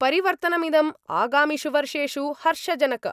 परिवर्तनमिदम् आगामिषु वर्षेषु हर्षजनक